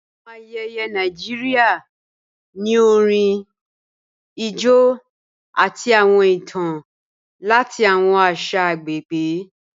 Awọn ayéyé Nàìjíríà ni orín, ijó, àti awọn ìtàn lati awọn àṣà agbegbe